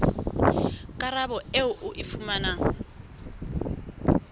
karabo eo o e fumanang